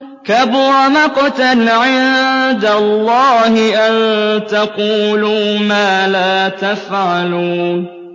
كَبُرَ مَقْتًا عِندَ اللَّهِ أَن تَقُولُوا مَا لَا تَفْعَلُونَ